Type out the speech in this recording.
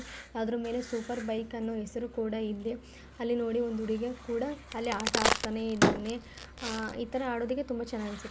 ಅದರು ಮೇಲೆ super bike ಅನ್ನೊ ಹೆಸರು ಕೂಡ ಇದೆ ಅಲ್ಲಿ ನೋಡು ಒಂದು ಹುಡುಗ ಕುಡ ಅಲ್ಲಿ ಆಟ ಆಡತಾ ಇದನೆ ಇತರ ಆಡೊದಕ್ಕೆ ತುಂಬಾ ಚನ್ನಾಗಿ ಅನ್ಸ --